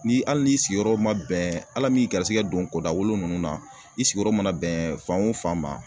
Ni hali ni sigiyɔrɔ ma bɛn Ala min garisigɛ don kɔ da wolo ninnu na i sigiyɔrɔ mana bɛn fan o fan ma